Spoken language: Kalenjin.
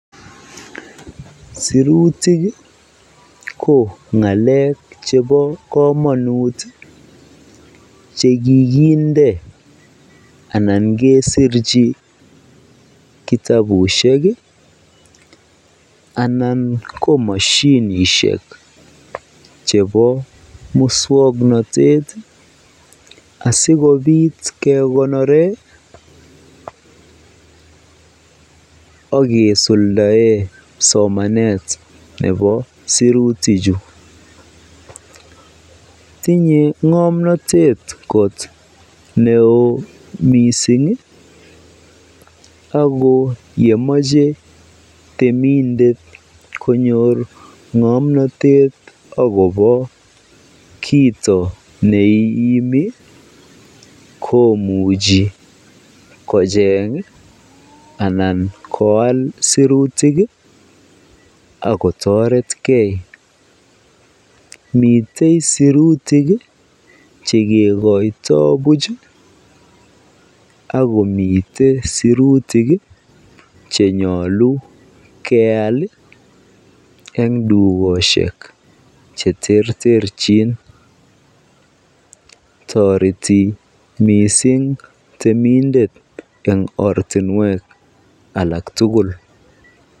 Sirutik ko ngalek chebo komonut chekikinde anan kesirchi kitabushek anan ko moshinishek chebo muswoknotet asikobit kekonoren ak kisuldaen somanet nebo sirutichu, tinye ngomnotet kot neo mising ak ko yemoche temindet konyor ngomnotet ak kobo kiit neimi komuchi kocheng anan koal sirutik ak kotoretke, miten sirutik chekikoito buch ak komiten sirutik chenyolu keyal en dukoshek cheterterchin, toreti mising temindet en ortinwek alak tukul.